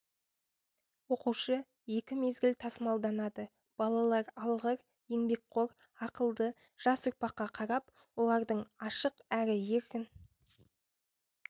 оқушы екі мезгіл тасымалданады балалар алғыр еңбекқор ақылды жас ұрпаққа қарап олардың ашық әрі еркін